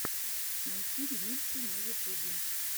найти ремиксы на ютубе